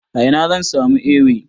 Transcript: A ina zan samu Ewe?